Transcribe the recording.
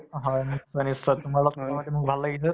অ হয় নিশ্চয় নশ্চয় তোমাৰ লগত কথা পাতি মোৰ ভাল লাগিছে